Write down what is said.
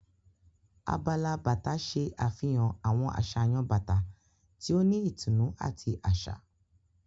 Abala bàtà ṣe àfihàn àwọn àsàyàn bàtà tí o ni ìtùnú àti aṣa.